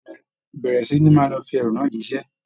Bẹ̀rẹ̀ sí ní máa lọ fi ẹrù náà jíṣẹ́